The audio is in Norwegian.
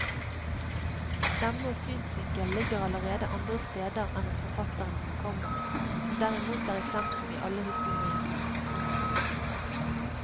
Stemme og synsvinkel ligger alle andre steder enn hos forfatteren, komma som derimot er sentrum i alle historiene. punktum